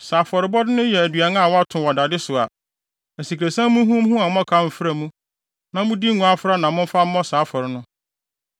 Sɛ afɔrebɔde no yɛ aduan a wɔato wɔ dade so a, asikresiam muhumuhu a mmɔkaw mfra mu, na mode ngo afra na momfa mmɔ saa afɔre no.